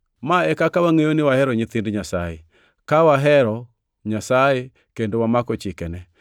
Ma e kaka wangʼeyo ni wahero nyithind Nyasaye: Ka wahero Nyasaye kendo wamako chikene.